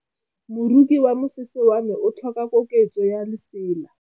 Moroki wa mosese wa me o tlhoka koketsô ya lesela.